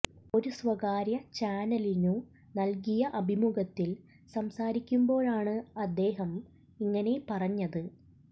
ഒരു സ്വകാര്യ ചാനലിനു നൽകിയ അഭിമുഖത്തിൽ സംസാരിക്കുമ്പോഴാണ് അദ്ദേഹം ഇങ്ങനെ പറഞ്ഞത്